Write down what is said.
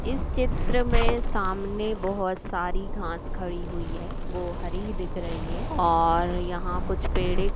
इस चित्र में सामने बहुत सारी घास खड़ी हुई है वो हरी दिख रही है और यहाँ कुछ पेड़े --